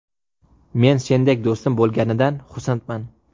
Men sendek do‘stim bo‘lganidan xursandman.